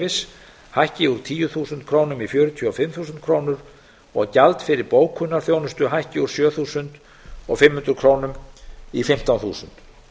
ferðaskipuleggjandaleyfi hækki úr tíu þúsund krónur í fjörutíu og fimm þúsund krónur og gjald fyrir bókunarþjónustu hækki úr sjö þúsund fimm hundruð krónur í fimmtán þúsund